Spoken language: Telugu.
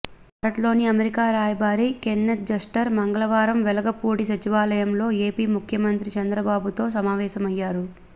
భారత్లోని అమెరికా రాయబారి కెన్నెత్ జస్టర్ మంగళవారం వెలగపూడి సచివాలయంలో ఎపి ముఖ్యమంత్రి చంద్రబాబుతో సమావేశమయ్యారు